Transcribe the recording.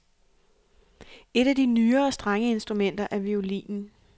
Et af de nyere strengeinstrumenter er violinen.